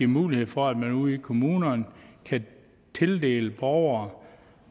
mulighed for at man ude i kommunerne kan tildele borgere